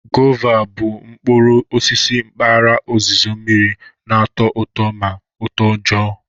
Gwova bụ mkpụrụ osisi mkpaghara ozizo mmiri na-atọ ụtọ na utoojoo.